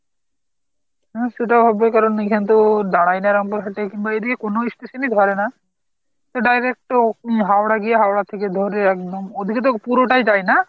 হাঁ সেটা হবে কারন এখানে তো দাড়ায় না এরকম এদিকে তো কোন station ই ধরে না তো direct হাওড়া হাওড়া থেকে ধরে একদম, ঐদিকে তো পুরোটাই তাই না?